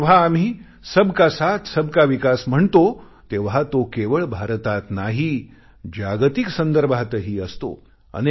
आणि जेव्हा आम्ही सबका साथसबका विकास म्हणतो तेव्हा तो केवळ भारतात नाही जागतिक संदर्भातही असतो